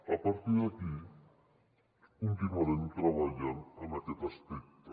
a partir d’aquí continuarem treballant en aquest aspecte